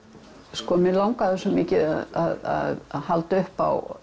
sko mig langaði svo mikið að halda upp á